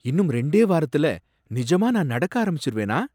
இன்னும் ரெண்டே வாரத்துல நிஜமா நான் நடக்க ஆரம்பிச்சிருவேனா?